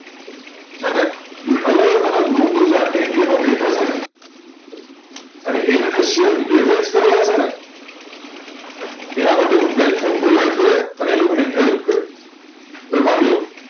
જે અલગ અલગ લોકો જે આખા ઇન્ડિયા માં બેઠા ચેને અને એને જે શેર લે વેચ કરવા છેને એના માટે કોઈ platform પ્રોવિડે કર્યો અને એ લોકો ને હેલ્પ કર્યું હવે માણીલો